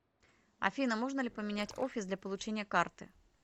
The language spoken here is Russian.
афина можно ли поменять офис для получения карты